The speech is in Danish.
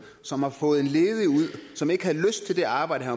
som har fået en ledig ud som ikke havde lyst til det arbejde